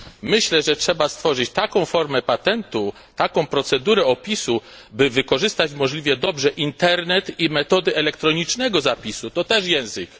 Myślę, że trzeba stworzyć taką formę patentu, taką procedurę opisu, by wykorzystać możliwie dobrze Internet i metody elektronicznego zapisu, a zatem język.